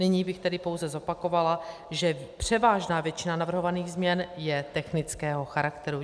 Nyní bych tedy pouze zopakovala, že převážná většina navrhovaných změn je technického charakteru.